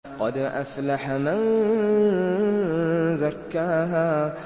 قَدْ أَفْلَحَ مَن زَكَّاهَا